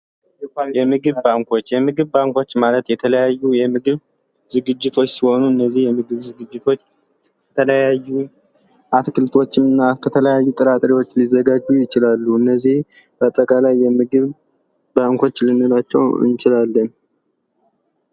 የምግብ ባንኮች የምግብ ባንኮች ማለት የተለያዩ የምግብ ዝግጅት ሲሆኑ እነዚህ የምግብ ዝግጅቶች የተለያዩ አትክልቶችና ጥራጥሬዎች ሊዘጋጁ ይችላሉ እነዚህ በተለያየ የምግብ ባንኮችን ልንላቸው እንችላለን።